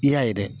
I y'a ye dɛ